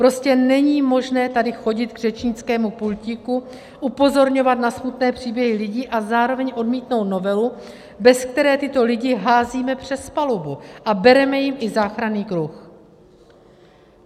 Prostě není možné tady chodit k řečnickému pultíku, upozorňovat na smutné příběhy lidí a zároveň odmítnout novelu, bez které tyto lidi házíme přes palubu a bereme jim i záchranný kruh.